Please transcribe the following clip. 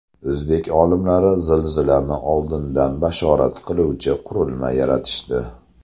O‘zbek olimlari zilzilani oldindan bashorat qiluvchi qurilma yaratishdi.